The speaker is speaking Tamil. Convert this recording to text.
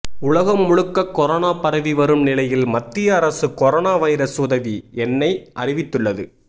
உலகம் முழுக்க கொரோனா பரவி வரும் நிலையில் மத்திய அரசு கொரோனா வைரஸ் உதவி எண்ணை அறிவித்துள்ளது